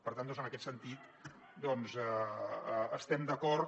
per tant en aquest sentit hi estem d’acord